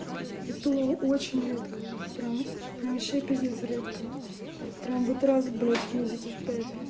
это о очень редко прямо прямо вообще пиздец редко прямо вот раз блять в месяцев пять